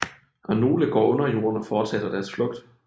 Og nogle går under jorden og fortsætter deres flugt